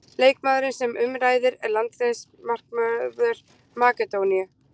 Leikmaðurinn sem um ræðir er landsliðsmarkvörður Makedóníu.